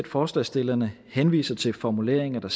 forslagsstillerne henviser til formuleringer